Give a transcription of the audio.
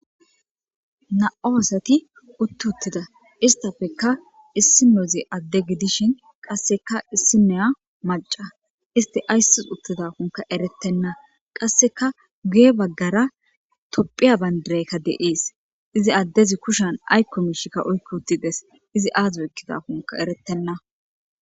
na7o asati utti uttida istafekka issimozi adde gidishin qasseka issinoya maca isti ayssus uttida kunka eretenna qasseka guye baggara topphiya bayndirekka deees izi addezi kushan aykko miishikka oykko uttides izi aazeykkida kunka erettenna